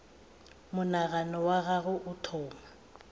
monagano wa gagwe o thoma